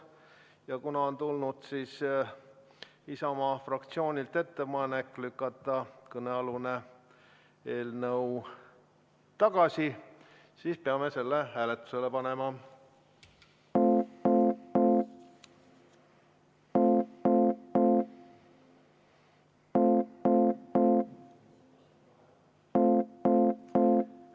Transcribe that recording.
Ja kuna Isamaa fraktsioonilt on tulnud ettepanek lükata kõnealune eelnõu tagasi, siis peame selle hääletusele panema.